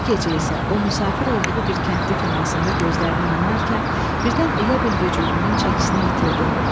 Bu gecə isə o müsafir olduğu bir kəndli komasında gözlərini yumarkən, birdən elə bil vücudunun çəkisini itirdi.